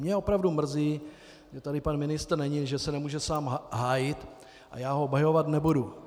Mě opravdu mrzí, že tady pan ministr není, že se nemůže sám hájit, a já ho obhajovat nebudu.